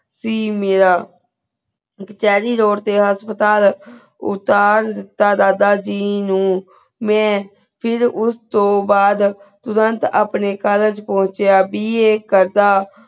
ਸੀ ਮੀਰਾ ਇਕ cherry road ਤੇ ਆ ਹਸਪਤਾਲ ਊ ਦਾਦਾ ਜੀ ਨੂ ਮੈ ਫਿਰ ਉਸ ਤੋ ਬਾਅਦ ਪਾਬੰਤ ਅਪਨੀ college ਪਹੁੰਚਿਯਾ bar ਕਰ ਦਾ